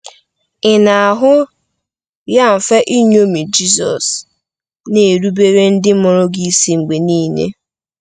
Ị na-ahụ ya mfe iṅomi Jizọs, na-erubere ndị mụrụ gị isi mgbe niile?